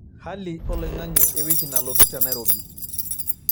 hali oloing'ang'e e wiki nalotu te nairobi